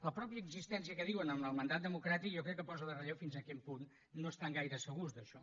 la mateixa existència que diuen del mandat democràtic jo crec que posa en relleu fins a quin punt no estan gaire segurs d’això